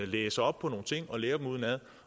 læser op på nogle ting og lærer dem udenad